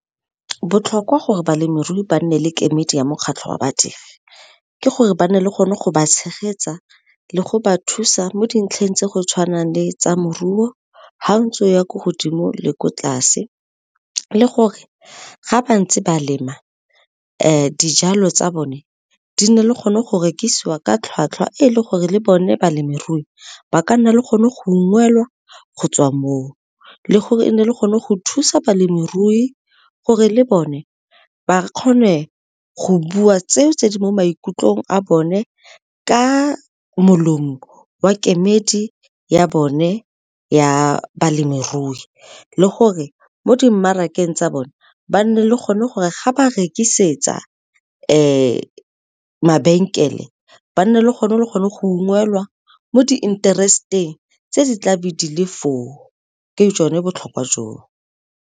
Botlhokwa gore balemirui ba nne le kemedi ya mokgatlho wa badiri, ke gore ba nne le gone go ba tshegetsa le go ba thusa mo dintlheng tse go tshwanang le tsa moruo ga ntse go ya ko godimo le ko tlase, le gore ga ba ntse ba lema dijalo tsa bone di nne le gone go rekisiwa ka tlhwatlhwa e e le gore le bone balemirui ba ka nna le gone go ungwelwa go tswa moo, le gore e nne le gone go thusa balemirui gore le bone ba kgone go bua tseo tse di mo maikutlong a bone ka molomo wa kemedi ya bone ya balemirui, le gore mo dimarakeng tsa bone ba nne le gone gore ga ba rekisetsa mabenkele ba nne le gona le gone go ungwelwa mo di interesteng tse di tla be di le foo ke jone botlhokwa joo.